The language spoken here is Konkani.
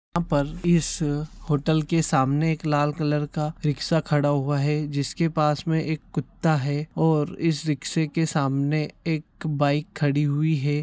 यहाँ पर इस होटल के सामने एक लाल कलर का रिक्शा खड़ा हुआ है जिसके पास में एक कुत्ता है और इस रिक्शे के सामने एक बाइक खड़ी हुई है।